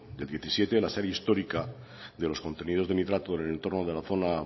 del diecisiete la serie histórica de los contenidos de nitrato en el entorno de la zona